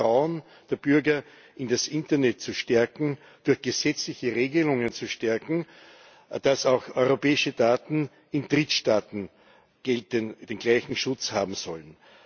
Das Vertrauen der Bürger in das Internet durch gesetzliche Regelungen zu stärken, dass auch europäische Daten in Drittstaaten den gleichen Schutz haben sollen.